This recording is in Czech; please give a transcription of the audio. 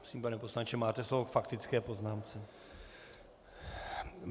Prosím, pane poslanče, máte slovo k faktické poznámce.